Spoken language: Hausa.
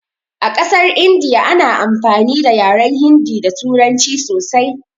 A ƙasar India ana amfani da yaren hindi da turanci sosai